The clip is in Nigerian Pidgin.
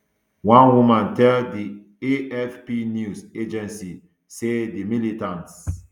one woman tell di afp news agency say di militants